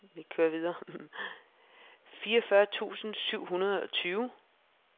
fireogfyrre tusind syv hundrede og tyve